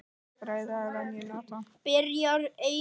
Fræið er vængjuð hnota.